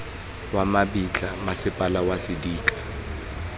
wa mabitla mmasepala wa sedika